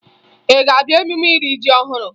Ị ga-abịa emume iri ji ọhụrụ?